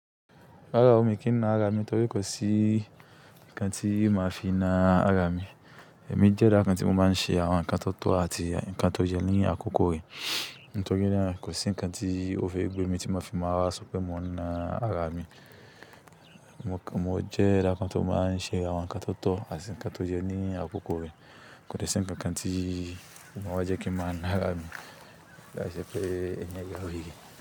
Rárá o, mi kì í na ara mi nítorí kò sí nǹkan tí máa fi na ara mi. Èmi jẹ́ eda kan tí mo máa ń ṣe àwọn ǹkan tó tọ̀ àti ǹkan tó yẹ ní àkókò re. Nítorí náà kò sí ǹkan tí ó fẹ́ gbé mi tí máa fi máa so pé mo ń na ara mi. Mo jẹ́ eda kan ti o máa ń ṣe àwọn ǹkan tó tọ̀ àti ǹkan tó yẹ ní àkókò re. Kò de sì ǹkankan tí o máa wa jẹ́ kí ń máa na ara mi. Lái sé pé ènìyàn yawere.